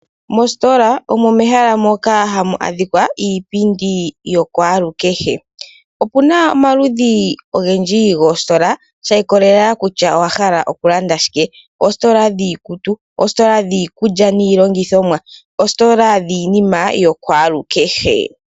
Moositola omo mehala moka hamu adhika iipindi yuukwalukehe. Okuna omaludhi ogendji goositola shiikololela kutya owa hala okulanda shike. Oositola dhiikutu, oositola dhiikulya niilongithomwa, oositola dhiinima yiikwalukehe.